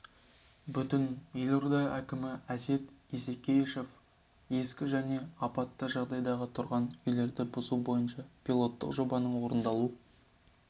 бүгін елорда әкімі әсет исекешев ескі және апатты жағдайдағы тұрғын үйлерді бұзу бойынша пилоттық жобаның орындалу